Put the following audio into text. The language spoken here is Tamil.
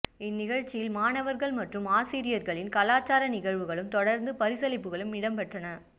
இந்நிகழ்வில் மாணவர்கள் மற்றும் ஆசிரியர்களின் கலாசார நிகழ்வுகளும் தொடர்ந்து பரிசளிப்புகளும் இடம்பெற்றன